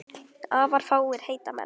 Afar fáir heita menn.